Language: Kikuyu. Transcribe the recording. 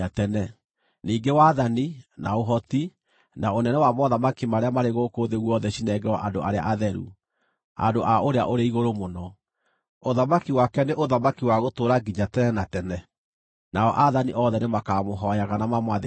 Ningĩ wathani, na ũhoti, na ũnene wa mothamaki marĩa marĩ gũkũ thĩ guothe cinengerwo andũ arĩa atheru, andũ a Ũrĩa-ũrĩ-Igũrũ-Mũno. Ũthamaki wake nĩ ũthamaki wa gũtũũra nginya tene na tene, nao aathani othe nĩmakamũhooyaga na mamwathĩkagĩre.’